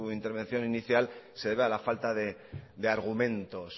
intervención inicial se debe a la falta de argumentos